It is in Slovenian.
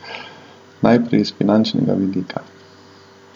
Najprej iz finančnega vidika.